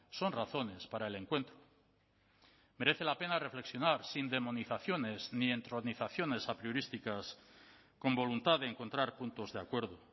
son razones para el encuentro merece la pena reflexionar sin demonizaciones ni entronizaciones apriorísticas con voluntad de encontrar puntos de acuerdo